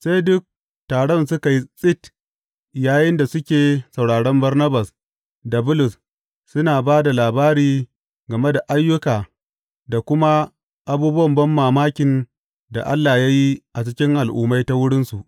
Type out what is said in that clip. Sai duk taron suka yi tsit yayinda suke sauraron Barnabas da Bulus suna ba da labari game da ayyuka da kuma abubuwan banmamakin da Allah ya yi a cikin Al’ummai ta wurinsu.